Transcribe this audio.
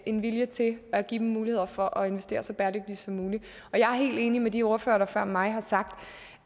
en vilje til at give dem muligheder for at investere så bæredygtigt som muligt jeg er helt enig med de ordførere som før mig har sagt